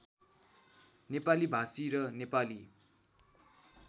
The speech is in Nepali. नेपाली भाषी र नेपाली